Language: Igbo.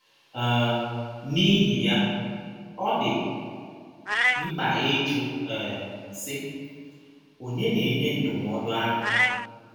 um N’ihi ya, ọ dị mkpa ịjụ um, sị: ‘ Ònye na - enye ndụmọdụ ahụ?